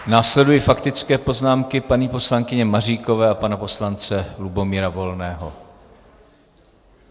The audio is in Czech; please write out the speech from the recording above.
Následují faktické poznámky, paní poslankyně Maříkové a pana poslance Lubomíra Volného.